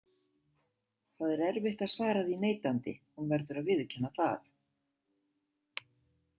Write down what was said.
Það er erfitt að svara því neitandi, hún verður að viðurkenna það.